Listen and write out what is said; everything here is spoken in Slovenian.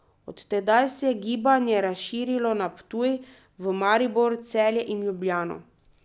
Od tedaj se je gibanje razširilo na Ptuj, v Maribor, Celje in Ljubljano.